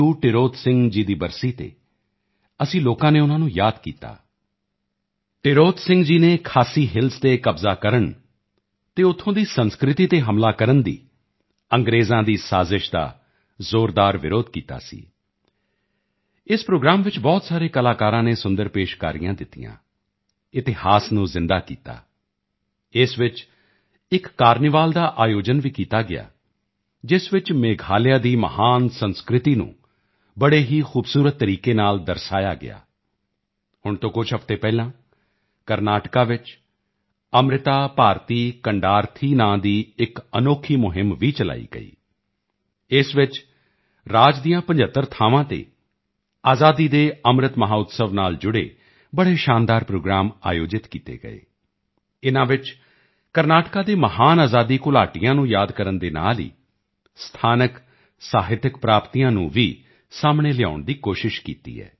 ਟਿਰੋਤ ਸਿੰਘ ਜੀ ਦੀ ਬਰਸੀ ਤੇ ਅਸੀਂ ਲੋਕਾਂ ਨੇ ਉਨ੍ਹਾਂ ਨੂੰ ਯਾਦ ਕੀਤਾ ਟਿਰੋਤ ਸਿੰਘ ਜੀ ਨੇ ਖਾਸੀ ਹਿੱਲਸ 8 ਤੇ ਕਬਜ਼ਾ ਕਰਨ ਅਤੇ ਉੱਥੋਂ ਦੀ ਸੰਸਕ੍ਰਿਤੀ ਤੇ ਹਮਲਾ ਕਰਨ ਦੀ ਅੰਗ੍ਰੇਜ਼ਾਂ ਦੀ ਸਾਜ਼ਿਸ਼ ਦਾ ਜ਼ੋਰਦਾਰ ਵਿਰੋਧ ਕੀਤਾ ਸੀ ਇਸ ਪ੍ਰੋਗਰਾਮ ਵਿੱਚ ਬਹੁਤ ਸਾਰੇ ਕਲਾਕਾਰਾਂ ਨੇ ਸੁੰਦਰ ਪੇਸ਼ਕਾਰੀਆਂ ਦਿੱਤੀਆਂ ਇਤਿਹਾਸ ਨੂੰ ਜ਼ਿੰਦਾ ਕਰ ਦਿੱਤਾ ਇਸ ਵਿੱਚ ਇੱਕ ਕਾਰਨੀਵਾਲ ਦਾ ਆਯੋਜਨ ਵੀ ਕੀਤਾ ਗਿਆ ਜਿਸ ਵਿੱਚ ਮੇਘਾਲਿਆ ਦੀ ਮਹਾਨ ਸੰਸਕ੍ਰਿਤੀ ਨੂੰ ਬੜੇ ਹੀ ਖੂਬਸੂਰਤ ਤਰੀਕੇ ਨਾਲ ਦਰਸਾਇਆ ਗਿਆ ਹੁਣ ਤੋਂ ਕੁਝ ਹਫਤੇ ਪਹਿਲਾਂ ਕਰਨਾਟਕਾ ਵਿੱਚ ਅੰਮ੍ਰਿਤਾ ਭਾਰਤੀ ਕਨਡਾਰਥੀ ਨਾਮ ਦੀ ਇੱਕ ਅਨੋਖੀ ਮੁਹਿੰਮ ਵੀ ਚਲਾਈ ਗਈ ਇਸ ਵਿੱਚ ਰਾਜ ਦੀਆਂ 75 ਥਾਵਾਂ ਤੇ ਆਜ਼ਾਦੀ ਕੇ ਅੰਮ੍ਰਿਤ ਮਹੋਤਸਵ ਨਾਲ ਜੁੜੇ ਬੜੇ ਸ਼ਾਨਦਾਰ ਪ੍ਰੋਗਰਾਮ ਆਯੋਜਿਤ ਕੀਤੇ ਗਏ ਇਨ੍ਹਾਂ ਵਿੱਚ ਕਰਨਾਟਕਾ ਦੇ ਮਹਾਨ ਆਜ਼ਾਦੀ ਘੁਲਾਟੀਆਂ ਨੂੰ ਯਾਦ ਕਰਨ ਦੇ ਨਾਲ ਹੀ ਸਥਾਨਕ ਸਾਹਿਤਕ ਪ੍ਰਾਪਤੀਆਂ ਨੂੰ ਵੀ ਸਾਹਮਣੇ ਲਿਆਉਣ ਦੀ ਕੋਸ਼ਿਸ਼ ਕੀਤੀ ਹੈ